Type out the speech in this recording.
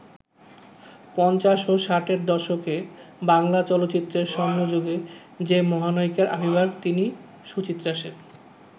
পঞ্চাশ ও ষাটের দশকে বাংলা চলচ্চিত্রের স্বর্ণযুগে যে মহানায়িকার আবির্ভাব তিনি সুচিত্রা সেন।